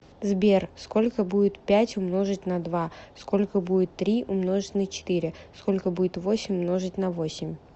сбер сколько будет пять умножить на два сколько будет три умножить на четыре сколько будет восемь умножить на восемь